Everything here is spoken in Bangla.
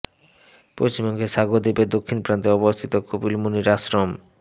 পশ্চিমবঙ্গের সাগর দ্বীপের দক্ষিণ প্রান্তে অবস্থিত কপিল মুনির আশ্রম